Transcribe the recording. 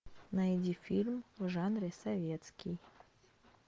найди фильм в жанре советский